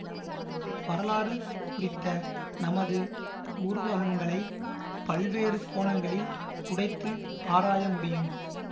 வரலாறு குறித்த நமது உருவகங்களை பல்வேறு கோணங்களில் உடைத்து ஆராயமுடியும்